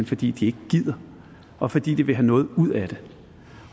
fordi de ikke gider og fordi de vil have noget ud af det